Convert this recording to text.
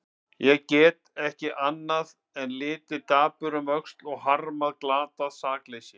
Ég get ekki annað en litið dapur um öxl og harmað glatað sakleysi.